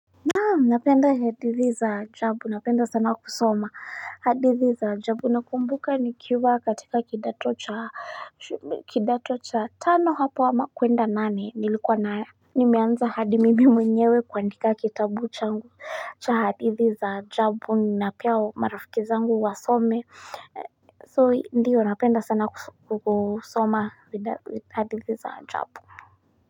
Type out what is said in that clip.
Naam napenda hadithi za ajabu napenda sana kusoma hadithi za ajabu nakumbuka nikiwa katika kidato cha kidato cha tano hapa ama kwenda nane nilikuwa na nimeanza hadi mimi mwenyewe kuandika kitabu changu cha hadithi za ajabu na pia marafiki zangu wasome so ndiyo napenda sana kuso kusoma hadithi za ajabu.